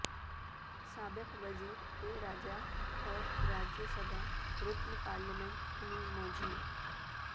سابق وزیر اے راجہ اور راجیہ سبھا رکن پارلیمنٹ کنی موجھی